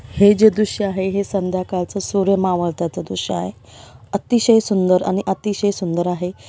हे जो दृश्य आ हे हे संध्याकाळच सूर्य मावळताचा दृश्य आहे अतिशय सुंदर आणि अतिशय सुंदर आहे.